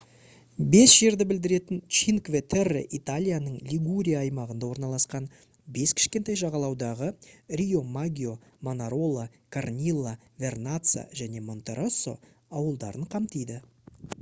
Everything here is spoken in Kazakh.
бес жерді білдіретін чинкве терре италияның лигурия аймағында орналасқан бес кішкентай жағалаудағы риомаггио манарола корнилла вернацца және монтероссо ауылдарын қамтиды